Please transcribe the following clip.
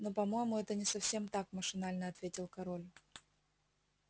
но по-моему это не совсем так машинально ответил король